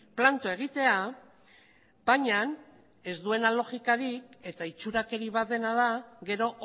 planto egitea baina ez duena logikarik eta itxurakeri bat dena da gero